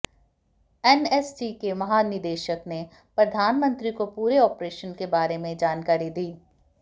NSG के महानिदेशक ने प्रधानमंत्री को पूरे ऑपरेशन के बारे में जानकारी दी